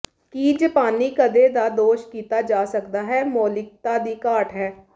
ਕੀ ਜਪਾਨੀ ਕਦੇ ਦਾ ਦੋਸ਼ ਕੀਤਾ ਜਾ ਸਕਦਾ ਹੈ ਮੌਲਿਕਤਾ ਦੀ ਘਾਟ ਹੈ